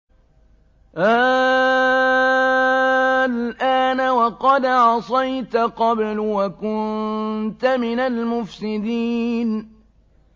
آلْآنَ وَقَدْ عَصَيْتَ قَبْلُ وَكُنتَ مِنَ الْمُفْسِدِينَ